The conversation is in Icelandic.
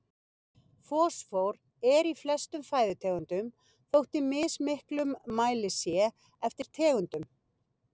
Fosfór er í flestum fæðutegundum þótt í mismiklum mæli sé eftir tegundum.